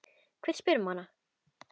Hver spyr um hana?